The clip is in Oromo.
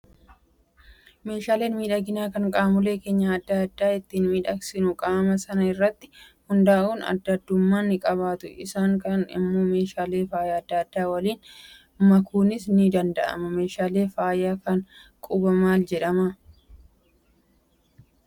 Meeshaaleen miidhaginaa kan qaamolee keenya adda addaa ittiin miidhagsinu qaama sana irratti hundaa'uun adda addummaa ni qabaatu. Isaan kaan immoo meeshaalee faayaa adda addaa waliin makuunis ni danda'ama. Meeshaan faayaa kan qubaa maal jedhamaa?